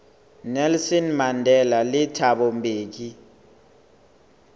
nelson mandela le thabo mbeki